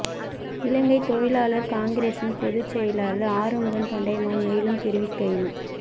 இலங்கை தொழிலாளர் காங்கிரசின் பொது செயலாளர் ஆறுமுகம் தொண்டமான் மேலும் தெரிவிக்கையில்